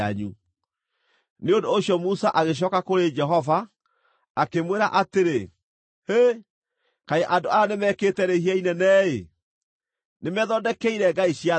Nĩ ũndũ ũcio Musa agĩcooka kũrĩ Jehova, akĩmwĩra atĩrĩ, “Hĩ, kaĩ andũ aya nĩmekĩte rĩhia inene-ĩ! Nĩmethondekeire ngai cia thahabu.